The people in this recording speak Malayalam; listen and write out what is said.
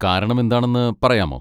കാരണം എന്താണെന്ന് പറയാമോ?